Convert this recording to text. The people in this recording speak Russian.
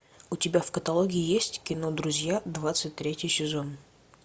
у тебя в каталоге есть кино друзья двадцать третий сезон